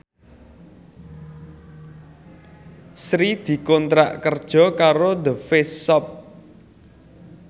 Sri dikontrak kerja karo The Face Shop